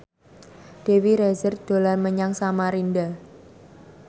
Dewi Rezer dolan menyang Samarinda